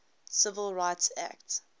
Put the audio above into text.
civil rights act